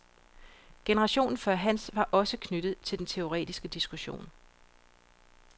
Generationen før hans var også knyttet til den teoretiske diskussion.